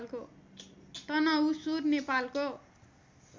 तनहुँसुर नेपालको